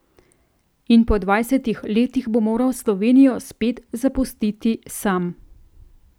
In po dvajsetih letih bo moral Slovenijo spet zapustiti sam.